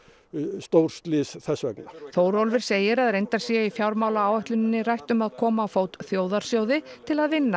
stórslys þess vegna Þórólfur segir að reyndar sé í fjármálaáætluninni rætt um að koma á fót þjóðarsjóði til að vinna